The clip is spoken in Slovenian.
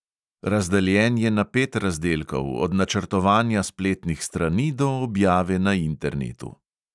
Razdeljen je na pet razdelkov, od načrtovanja spletnih strani do objave na internetu.